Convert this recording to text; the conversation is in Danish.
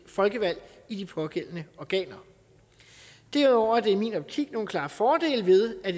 folkevalgt i de pågældende organer derudover er der i min optik nogle klare fordele ved at